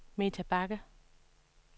Meta Bagge